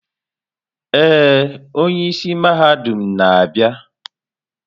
Ee, onye isi mahadum na-abịa.